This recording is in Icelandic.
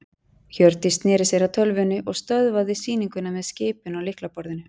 Hjördís sneri sér að tölvunni og stöðvaði sýninguna með skipun á lyklaborðinu.